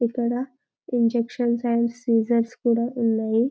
ఇక్కడ injections and scissors కూడా ఉన్నాయి